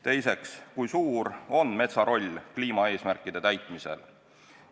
Teiseks, kui suur on metsa roll kliimaeesmärkide täitmisel?